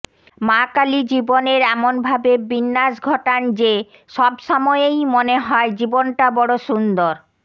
মা কালী জীবনের এমন ভাবে বিন্যাস ঘটান যে সব সময়েই মনে হয় জীবনটা বড় সুন্দর